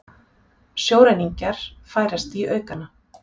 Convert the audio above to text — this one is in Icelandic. Sjóræningjar færast í aukana